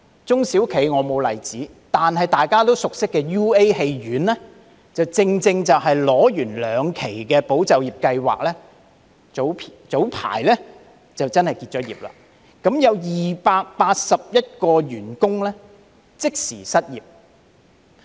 中小企方面我沒有例子，但大家熟悉的 UA 院線，正正是在申領兩期"保就業"計劃後，在早陣子宣布結業，共有281名員工即時失業。